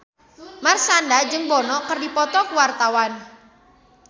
Marshanda jeung Bono keur dipoto ku wartawan